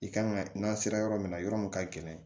I kan ka n'a sera yɔrɔ min na yɔrɔ min ka gɛlɛn